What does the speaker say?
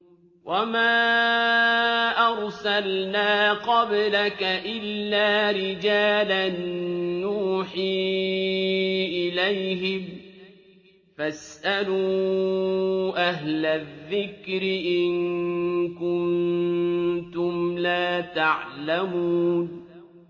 وَمَا أَرْسَلْنَا قَبْلَكَ إِلَّا رِجَالًا نُّوحِي إِلَيْهِمْ ۖ فَاسْأَلُوا أَهْلَ الذِّكْرِ إِن كُنتُمْ لَا تَعْلَمُونَ